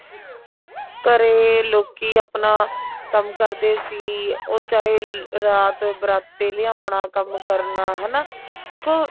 ਘਰੇ ਲੋਕੀ ਆਪਣਾ ਕੰਮ ਕਰਦੇ ਸੀ ਉਹ ਚਾਹੇ ਰਾਤ ਬਰਾਤੇ ਲਿਆਉਣਾ ਕੰਮ ਕਰਨਾ ਹਨਾ ਦੇਖੋ